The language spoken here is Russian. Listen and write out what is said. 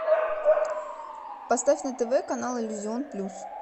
поставь на тв канал иллюзион плюс